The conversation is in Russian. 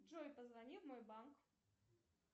джой позвони в мой банк